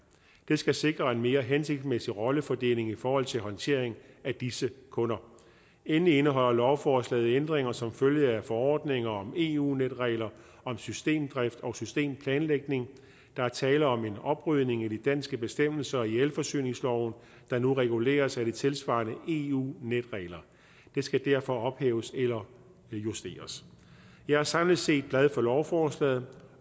det skal sikre en mere hensigtsmæssig rollefordeling i forhold til håndteringen af disse kunder endelig indeholder lovforslaget ændringer som følge af forordninger om eu netregler om systemdrift og systemplanlægning der er tale om en oprydning i de danske bestemmelser i elforsyningsloven der nu reguleres af de tilsvarende eu netregler de skal derfor ophæves eller justeres jeg er samlet set glad for lovforslaget